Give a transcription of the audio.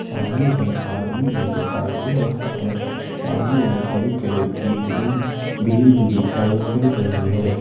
सामने एक आदमी भी दिखाई दे रहा है सामने एक हरी कलर की ग्रीन ग्रील भी दिखाई पड़ रही है।